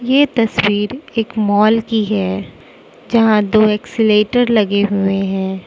ये तस्वीर एक मॉल की है जहां दो एस्केलेटर लगे हुए है।